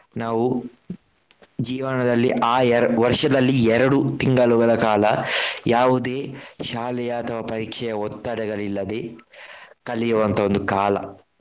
ನಾವು ಜೀವನದಲ್ಲಿ ಆ ಎರ~ ವರ್ಷದಲ್ಲಿ ಎರಡು ತಿಂಗಳುಗಳ ಕಾಲ ಯಾವುದೇ ಶಾಲೆಯ ಅಥವಾ ಪರೀಕ್ಷೆಯ ಒತ್ತಡಗಳಿಲ್ಲದೆ ಕಲಿಯುವಂತಹ ಒಂದು ಕಾಲ.